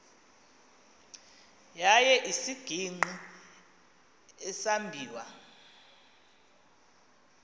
yaye isisigingqi esambiwa